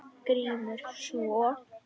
GRÍMUR: Svo?